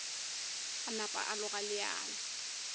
a napa a loga leano